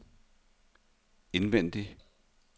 indvendig